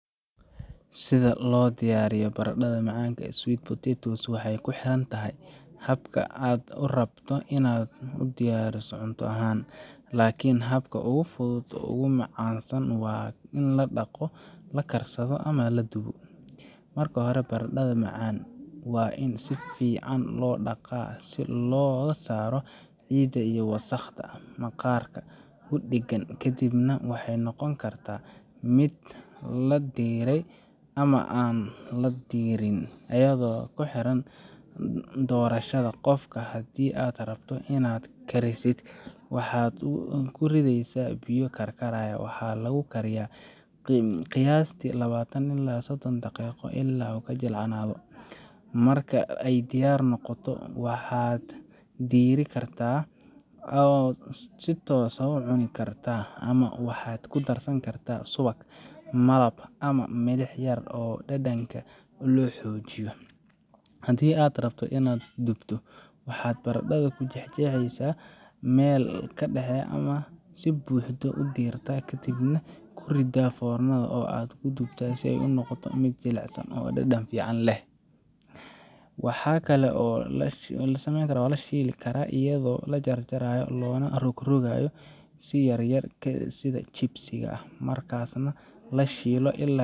Sida loo diyaariyo baradhada macaanka sweet potatoes waxay ku xiran tahay habka aad rabto in aad u cunto, laakiin habka ugu fudud uguna caansan waa in la dhaqdo, la karsado, ama la dubo. Marka hore, baradhada macaanka waa in si fiican loo dhaqaa si looga saaro ciidda iyo wasakhda maqaarka ku dheggan. Kadib waxay noqon kartaa mid la diiray ama aan la diirin, iyadoo ku xiran doorashada qofka. Haddii aad rabto inaad karisid, waxaad ku ridaysaa biyo karkaraya, waxaana lagu kariyaa qiyaastii labatn ilaa sodon daqiiqo ilaa ay jilcayso. Marka ay diyaar noqoto, waad diiri kartaa oo si toos ah waad u cuni kartaa ama waxaad ku darsan kartaa subag, malab ama milix yar si dhadhanka loo xoojiyo. Haddii aad rabto inaad dubto, waxaad baradhada ku jeexaysaa meel dhexe ama si buuxda u diirtaa kadibna ku riddaa foornada oo aad ku dubto ilaa ay noqoto mid jilicsan oo dhadhan fiican leh. Waxa kale oo la shiili karaa iyadoo la jarjaro loona rogrogayo yar yar sida chips-ka, markaasna la shiilo ilaa